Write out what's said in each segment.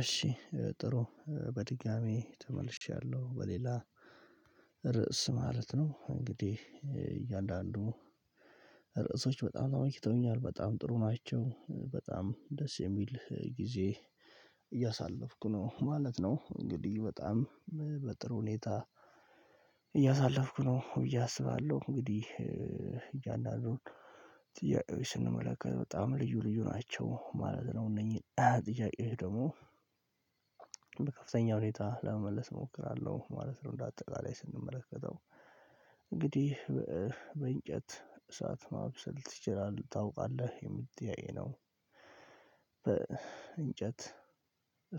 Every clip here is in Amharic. እሺ ጥሩ በድጋሚ ተመልሻለሁ በሌላ ርዕስ ማለት ነው። እንግዲህ እያንዳንዱ ርዕሶች በጣም ተመችተውኛል በጣም ጥሩ ናቸው በጣም ደስ የሚል ጊዜ እያሳለፍኩ ነው ማለት ነው። እንግዲህ በጣም በጥሩ ሁኔታ እያሳለፍኩ ነው ብየ እያሰባለሁ እንግዲህ እያንዳንዱን ጥያቄው ስንመለከት በጣም ልዩ ልዩ ናቸው ማለት ነው እነኚህ ጥያቄ ደግሞ በከፍተኛ ሁኔታ ለመመለስ እሞክራለሁ ማለት ነው። እንደ አጠቃላይ ስንመለከተው እንግዲህ በእንጨት እሳት ማብሰል ትችላለ ታውቃለህ የምትል ጥያቄ ነው? በእንጨት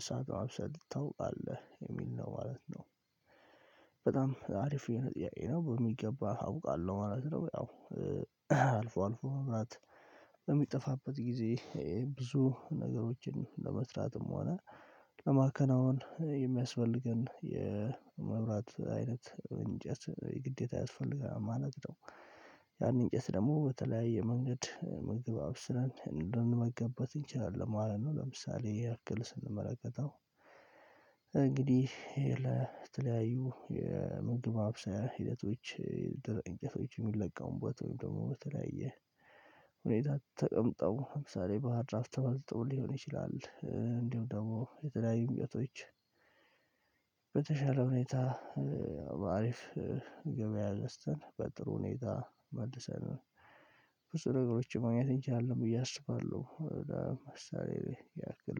እሳቱ አብሰህ ታውቃለህ የሚል ነው ማለት ነው። በጣም አሪፍ የነጥያቄ ነው በሚገባ አውቃለሁ ማለት ነው። በጣም አልፎ አልፎ መብራት በሚጠፋበት ጊዜ ብዙ ነገሮችን ለመስራትም ሆነ ለማከናወን የሚያስፈልገን የመብራት አይነት እንጨት የግዴታ ያስፈልጋል ማለት ነው። ያንን እንጨት ደግሞ በተለያየ መንገድ መግብ አብስለን እንድንመገብበት እንችላለን ማለት ነው። ለምሳሌ ያክል ስንመለከተው እንግዲህ ለተለያዩ የምግብ ማብሰያ ሂደቶች እንጨቶች የሚለቀውን ቦታውን ደግሞ በተለያየ ሁኔታ ተቀምጠው ለምሳሌ ባህር ዳር ተመቀጠው ሊሄዱ ይችላል። እንዲሁ ደግሞ የተለያዩ እምነቶች በተሻለ ሁኔታ አሪፍ ገበያ ደስተን በጥሩ ሁኔታ መልሰን ፍጹም ነገሮች ማግኘት እንችላለን ብዬ አስባለሁ።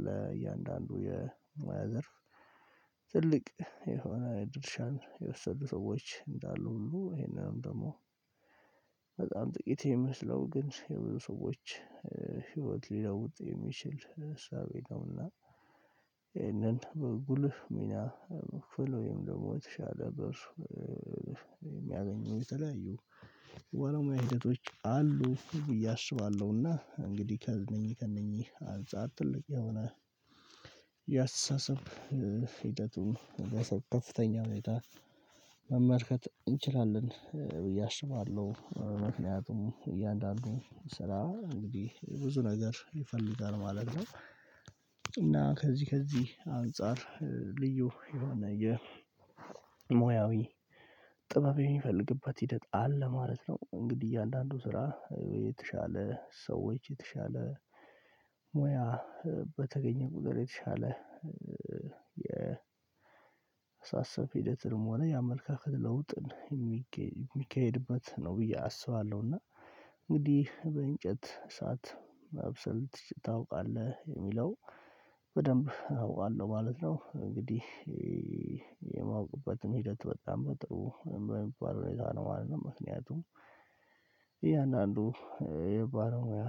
ለእያንዳንዱ የዘርፍ ትልቅ የሆነ ድርሻን የወሰዱ ሰዎች እንዳሉ ሁሉ ይሄንንም ደግሞ በጣም ጥቂት የሚመስለው ግን የብዙ ሰዎች ህይወት ሊለውጥ የሚችል እሳቤ ነውና። ይሄንን በጉልህ ሚና ፍል ወይም ደግሞ የተሻለ በሱ የሚያገኙ የተለያዩ ወሎሞያ ህይወቶች አሉ ብዬ አስባለሁና። እንግዲህ ከእነኚህ ከእነኚህ አንፃር ትልቅ የሆነ የአስተሳሰብ ሂደቱ ከፍተኛ ሁኔታ መመልከት እንችላለን እያሰባለሁ ምክንያቱም እያንዳንዱን ስራ እንግዲህ ብዙ ነገር ይፈልጋል ማለት ነው። እና ከዚህ ከዚህ አንፃር ልዩ የሞያዊ ጥበብ የሚፈልግበት ሂደት አለ ማለት ነው። እንግዲህ እያንዳንዱ ስራ የተሻለ ሰዎች የተሻለ ሙያ በተገኘ ጉዳይ የተሻለ የአስተሳሰብ ሂደትም ሆነ የአመለካከት ለውጥን የሚካሄድበት ነው ብዬ አስባለሁ። እና እንግዲህ በእንጨት እሳት ማብሰል ትች ታውቃለህ የሚለው በደንብ አውቃለሁ ማለት ነው። እንግዲህ የማውቅበትን ሂደት በጣም በጥሩ በሚባል ሁኔታ ነው ማለት ነው። ምክንያቱም እያንዳንዱ የባለሙያ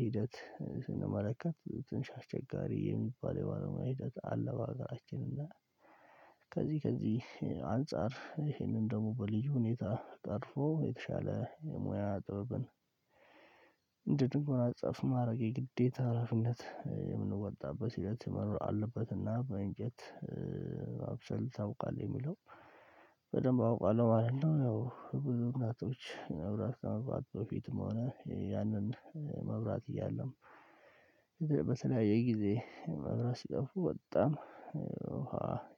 ሂደት ስንመለከት ትንሽ አስቸጋሪ የሚባል የባለሙያ ሂደት አለ። ባለሃገራችን እና ከዚህ ከዚህ አንፃር ይሄንን ደግሞ በልጅ ሁኔታ ጠርፎ የተሻለ የሙያ ጥበብን እንደ ድንኳና ጸፍ ማድረግ የግዴታ አረፍነት የምንወጣበት ሲለት መኖር አለበት እና በእንጨት ማብሰል ታውቃለህ የሚለው በደንብ አውቃለሁ ማለት ነው። ያው ብዙ እናቶች መብራት ከመብራት ፊትም ሆነ ያንን መብራት እያለም በተለያየ ጊዜ መብራት ሲጠፉ ወጣ ውሃ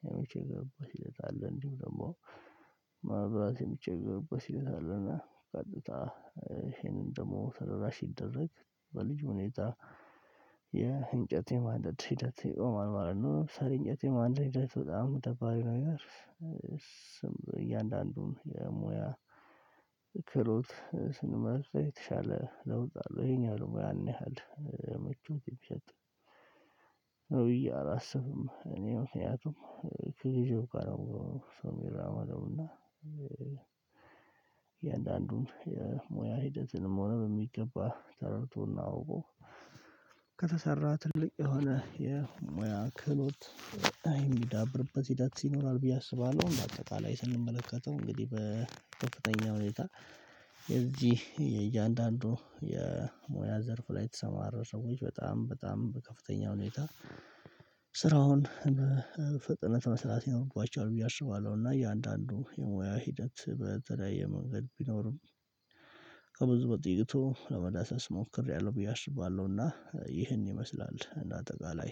የመቼ ገቡ ይለታል እንዲሁ ደግሞ ማብራት የሚቸገርበት ሁኔታ አለ እና ቀጥታ ይሄንን ደግሞ ተደራሽ ይደረግ በልዩ ሁኔታ የእንጨት ማንደድ ሂደቴ የኖራል ማለት ነው። በእንጨት የማንደድ ሂደት በጣም ደባሪ ነገር ስም እያንዳንዱም የሙያ ክህሎት ስንመለከት የተሻለ ለውጥ አለው። ይሄኛው ሙያ ያህል መቼውም ሸጠ ብየ አላስብም እኔው ምክንያቱም ከልጅው ጋር ነው ሶሚራ ማለም እና የእያንዳንዱን የሙያ ሂደትንም ሆነ በሚገባ ተረድቶና አውቆ ከተሰራ ትልቅ የሆነ የሙያ ክሎት አይ የሚዳብርበት ሂደት ሲኖራል ብዬ አስባለሁ። አጠቃላይ ስንመለከተው እንግዲህ በከፍተኛ ሁኔታ የዚህ የእያንዳንዱ የሙያ ዘርፍ ላይ የተሰማራ ሰዎች በጣም በጣም በከፍተኛ ሁኔታ ስራውን በፍጥነት መስራት ይኖርቧቸዋል አስባለሁ። እና የአንዳንዱ የሙያ ሂደት በተለያየ መንገድ ቢኖርም ከብዙ በጥቂቱ ለመዳሰስ ሞክሬያለሁ ብዬ አሽባለሁና። ይህን ይመስላል እና አጠቃላይ